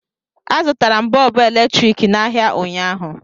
Azụtara m Bọọbụ eletrik n'ahịa ụnyaahụ